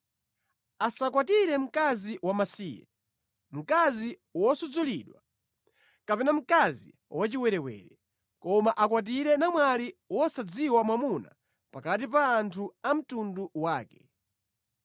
Asakwatire mkazi wamasiye, mkazi wosudzulidwa, kapena mkazi wachiwerewere, koma akwatire namwali wosadziwa mwamuna pakati pa anthu a mtundu wake,